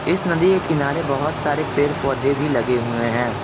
इस नदी के किनारे बहुत सारे पेड़ पौधे भी लगे हुए हैं।